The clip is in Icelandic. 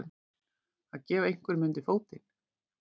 Að gefa einhverjum undir fótinn